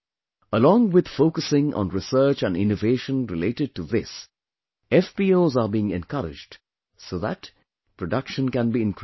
Along with focusing on research and innovation related to this, FPOs are being encouraged, so that, production can be increased